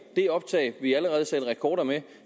det optag vi allerede satte rekord med